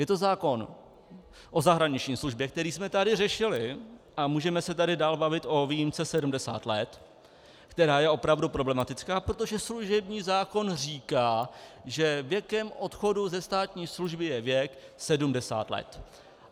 Je to zákon o zahraniční službě, který jsme tady řešili, a můžeme se tady dál bavit o výjimce 70 let, která je opravdu problematická, protože služební zákon říká, že věkem odchodu ze státní služby je věk 70 let.